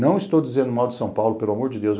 Não estou dizendo mal de São Paulo, pelo amor de Deus.